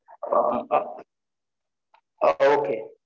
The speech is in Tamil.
அஹ் ஆஹ் okay okay